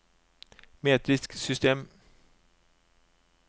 metrisk system